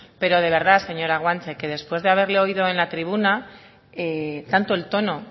pero de verdad señora guanche que después de haberle oído en la tribuna tanto el tono